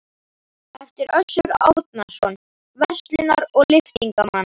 eftir Össur Árnason, verslunar- og lyftingamann.